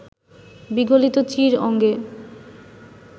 বিগলিত চীর অঙ্গে